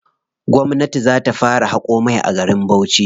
Gwamnati za ta fara haƙo mai a garin Bauchi.